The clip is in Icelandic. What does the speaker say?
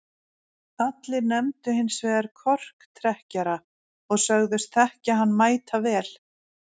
allir nefndu hins vegar korktrekkjara og sögðust þekkja hann mætavel